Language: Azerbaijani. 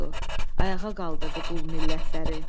Ayağa qaldırdı qul millətləri.